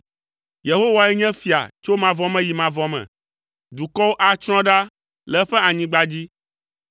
Yehowae nye fia tso mavɔ me yi mavɔ me; dukɔwo atsrɔ̃ ɖa le eƒe anyigba dzi.